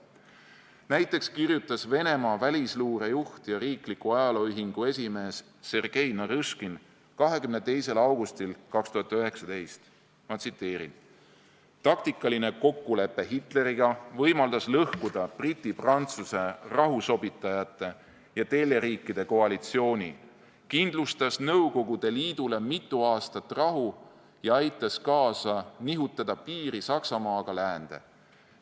Näiteks kirjutas Venemaa välisluure juht ja riikliku ajaloo ühingu esimees Sergei Narõškin 22. augustil 2019: "Taktikaline kokkulepe Hitleriga võimaldas lõhkuda Briti-Prantsuse rahusobitajate ja teljeriikide koalitsiooni, kindlustas Nõukogude Liidule mitu aastat rahu ja aitas kaasa nihutada piiri Saksamaaga läände.